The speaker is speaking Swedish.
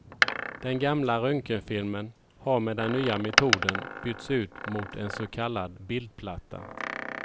Den gamla röntgenfilmen har med den nya metoden bytts ut mot en så kallad bildplatta.